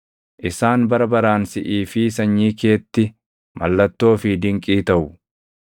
Isaan bara baraan siʼii fi sanyii keetti mallattoo fi dinqii taʼu.